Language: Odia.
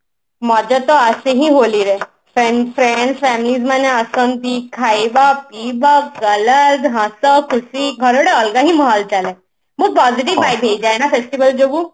ମଜା ତ ଆସେ ହିଁ ହୋଲି ରେ friend friends family ମାନେ ଆସନ୍ତି ଖାଇବା ପିଇବା colors ହସ ଖୁସି ଘରେ ଗୋଟେ ଅଲଗା ହିଁ ମାହୋଲ ଚାଲେ but positive vibes ହେଇ ଯାଏ ନା ସେଥିପାଇଁ ଯୋଗୁ